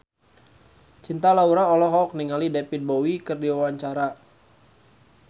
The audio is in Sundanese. Cinta Laura olohok ningali David Bowie keur diwawancara